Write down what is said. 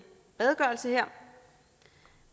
redegørelse her